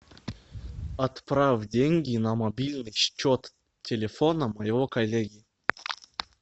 отправь деньги на мобильный счет телефона моего коллеги